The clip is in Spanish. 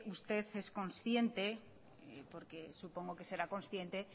usted es consciente y porque supongo que será consciente